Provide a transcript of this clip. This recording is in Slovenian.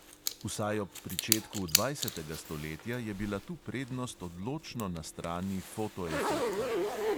Vsaj ob pričetku dvajsetega stoletja je bila tu prednost odločno na strani fotoefekta."